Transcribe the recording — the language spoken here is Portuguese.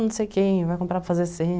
Não sei quem, vai comprar para fazer